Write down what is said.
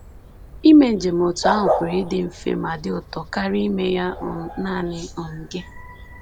Ime njem otú ahụ pụrụ ịdị mfe ma dị ụtọ karịa ime ya um nanị um gị